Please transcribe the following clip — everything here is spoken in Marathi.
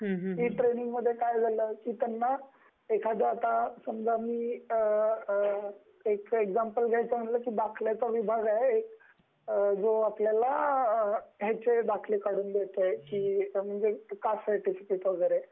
ट्रेनिंगमध्ये काय झाल एक्साम्प्ल द्यायच झाल म्हणजे दाखल्याचा विभाग आहे त्यात आपल्याला दाखला काढून मिळतो, कास्ट सर्टिफिकेट वैगेरे